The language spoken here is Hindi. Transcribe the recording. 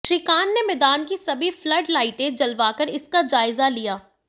श्रीकांत ने मैदान की सभी फ्लड लाइटें जलवाकर इसका जायजा लिया